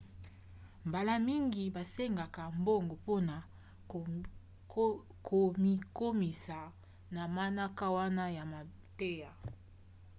mbala mingi basengaka mbongo mpona komikomisa na manaka wana ya mateya